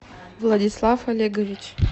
владислав олегович